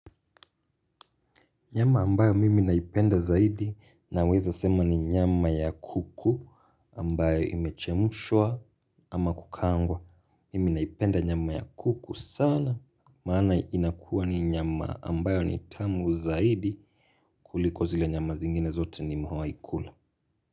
Nyama ambayo mimi naipenda zaidi naweza sema ni nyama ya kuku ambayo imechemshwa ama kukaangwa. Mimi naipenda nyama ya kuku sana maana inakuwa ni nyama ambayo ni tamu zaidi kuliko zile nyama zingine zote nimewahi kula.